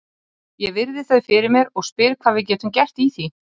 Ég virði þau fyrir mér og spyr hvað við getum gert í því.